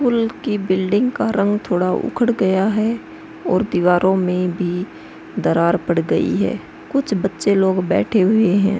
School की building का रंग थोडा उखड गया है और दीवारों में भी दरार पड़ गई है। कुछ बच्चे लोग बैठे हुए हैं।